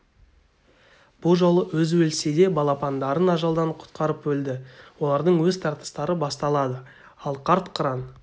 бұ жолы өзі өлсе де балапандарын ажалдан құтқарып өлді олардың өз тартыстары басталады ал қарт қыран